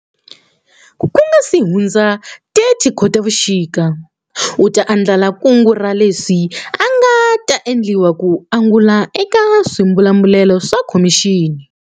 Ku nga si hundza 30 Khotavuxika, u ta andlala kungu ra leswi nga ta endliwa ku angula eka swibumabumelo swa Khomixini.